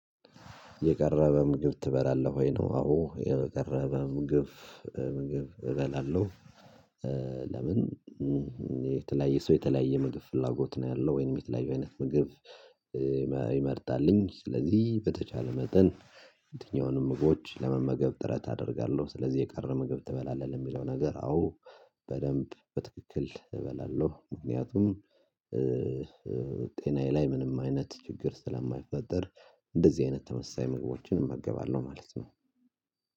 የቀረበ ምግብ ትበላለህ ወይ ነው? አዎ የቀረበ ምግብ ምግብ እበላለሁ። ለምን የተለያየ ሰው የተለያየ ምግብ ፍላጎት ነው ያለው ወይንም የተለያየ አይነት ምግብ። የመጣልኝ ስለዚህ በተቻለ መጠን የትኛውንም ምጎች ለመመገብ ጥረት አደርጋለሁ። ስለዚህ የቀረ ምግብ ትበላለህ የሚለው ነገር አዎ። በደንብ በትክክል እበላለሁ። ምክንያቱም ጤናዬ ላይ ምንም አይነት ችግር ስለማይፈጠር። እንደዚህ አይነት ተመሳሳይ ምግቦችን እመገባለሁ ማለት ነው።